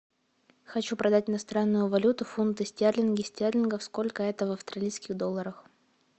хочу продать иностранную валюту фунты стерлинги стерлингов сколько это в австралийских долларах